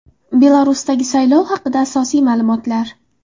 Belarusdagi saylov haqida asosiy ma’lumotlar.